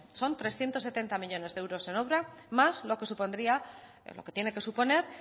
son trescientos setenta millónes de euros en obra más lo que supondría lo que tiene que suponer